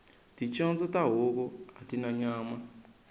ticondzo ta huku atina nyama